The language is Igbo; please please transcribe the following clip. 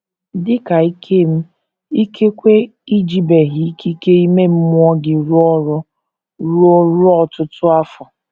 Dị ka Ikem, ikekwe i jibeghị ikike ime mmụọ gị rụọ ọrụ ruo ruo ọtụtụ afọ.